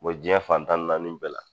Bɔ jiɲɛ fan tan ni naani bɛɛ la